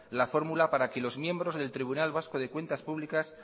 la fórmula para que los miembros del tribunal vasco de cuentas públicas